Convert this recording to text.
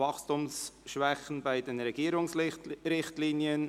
Wachstumsschwäche bei den Regierungsrichtlinien